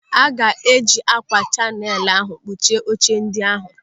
Aga eji ákwà chinail ahụ kpuchie oche ndị ahụ.